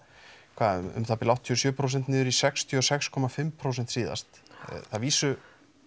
hvað um það bil áttatíu og sjö prósent niður í sextíu og sex komma fimm prósent síðast að vísu